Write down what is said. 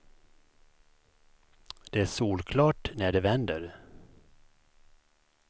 Det är solklart när det vänder.